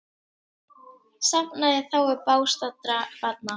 Safnað í þágu bágstaddra barna